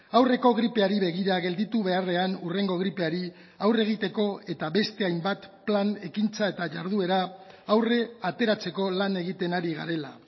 aurreko gripeari begira gelditu beharrean hurrengo gripeari aurre egiteko eta beste hainbat plan ekintza eta jarduera aurre ateratzeko lan egiten ari garela